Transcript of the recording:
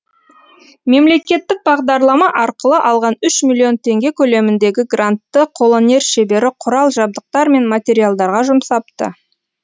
мемлекеттік бағдарлама арқылы алған үш миллион теңге көлеміндегі грантты қолөнер шебері құрал жабдықтар мен материалдарға жұмсапты